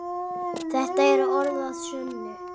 Þetta eru orð að sönnu.